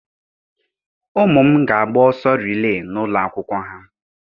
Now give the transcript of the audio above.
Ụmụ m ga-agba ọsọ rilee n'ụlọ akwụkwọ ha.